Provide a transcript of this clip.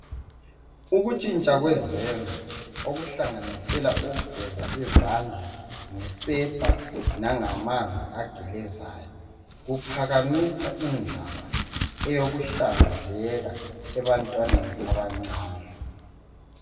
Ukutshintsha kwezenzo, okuhlanganisela ukugeza izandla ngesepa langamanzi agelezayo, kuphakamisa indaba eyokuhlanzeka ebantwaneni abancane .